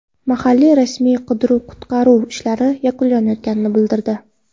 Mahalliy rasmiylar qidiruv-qutqaruv ishlari yakunlanayotganini bildirdi.